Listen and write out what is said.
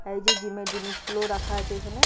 আর এইযে জিম এর জিনিসগুলো ও রাখা আছে এখানে।